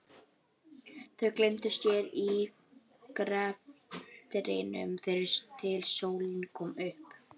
Þau gleymdu sér í greftrinum þar til sólin kom upp.